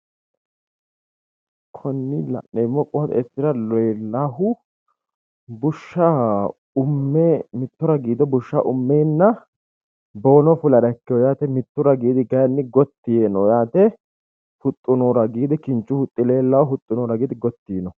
Konni la'neemmo qooxeessira leellahu Bushsha umme mitto ragiido bushsha ummeenna boono fulara ikkiwo yaate. Mittu ragiidi kayinni gotti yiino yaate. Huxxu noo ragiidi kinchu huxxi leellawo. Huxxu noo ragiidi gotti yiino.